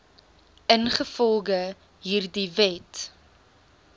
ingevolge hierdie wet